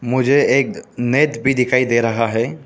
मुझे एक नेट भी दिखाई दे रहा है।